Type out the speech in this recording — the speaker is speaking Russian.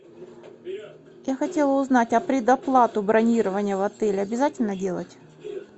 я хотела узнать а предоплату бронирования в отеле обязательно делать